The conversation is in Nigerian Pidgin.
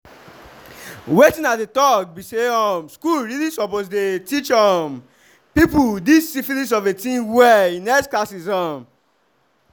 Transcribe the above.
wetin i dey talk be say um school really suppose the teache um people this syphilis of a thing well in health classes um